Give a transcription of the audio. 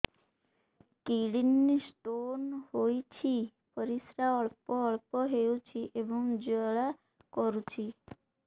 kidney stone ହୋଇଛି ପରିସ୍ରା ଅଳ୍ପ ଅଳ୍ପ ହେଉଛି ଏବଂ ଜ୍ୱାଳା କରୁଛି